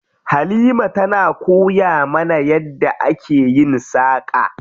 Halima tana koya mana yadda ake yin saƙa.